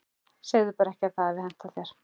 Segðu bara ekki að það hafi hentað þér.